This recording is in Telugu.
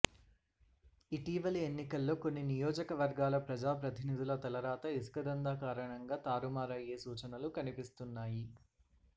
ఇటీవలి ఎన్నికల్లో కొన్ని నియోజకవర్గాల ప్రజాప్రతినిధుల తలరాత ఇసుక దందా కారణంగా తారుమారయ్యే సూచలు కనిపిస్తున్నాయి